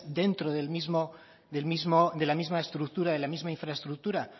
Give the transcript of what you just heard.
dentro de la misma estructura de la misma infraestructura